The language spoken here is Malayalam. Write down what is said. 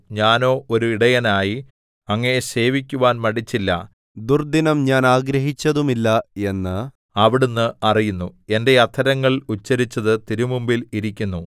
ഞാനോ ഒരു ഇടയനായി അങ്ങയെ സേവിക്കുവാൻ മടിച്ചില്ല ദുർദ്ദിനം ഞാൻ ആഗ്രഹിച്ചതുമില്ല എന്നു അവിടുന്ന് അറിയുന്നു എന്റെ അധരങ്ങൾ ഉച്ചരിച്ചത് തിരുമുമ്പിൽ ഇരിക്കുന്നു